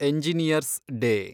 engineers day